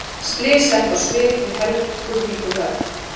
Slys sett á svið við Helguvíkurhöfn